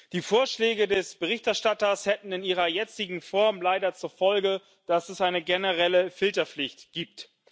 Die Vorschläge des Berichterstatters hätten in ihrer jetzigen Form leider zur Folge, dass es eine generelle Filterpflicht gibt.